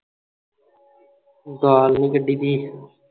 ਗੱਲ ਨਹੀਂ ਕੱਢੀਦੀ